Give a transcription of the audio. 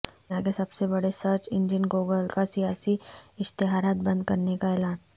دنیا کے سب سے بڑے سرچ انجن گوگل کا سیاسی اشتہارات بند کرنے کا اعلان